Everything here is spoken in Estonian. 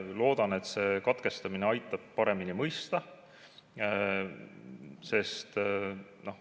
Loodan, et see katkestamine aitab seda paremini mõista.